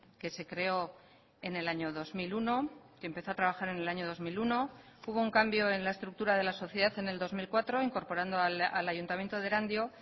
que se creó en el año dos mil uno que empezó a trabajar en el año dos mil uno hubo un cambio en la estructura de la sociedad en el dos mil cuatro incorporando al ayuntamiento de erandio